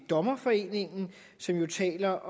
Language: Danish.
dommerforeningen som taler